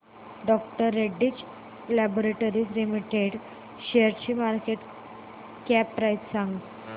डॉ Reddy's laboratories limited शेअरची market cap price सांगा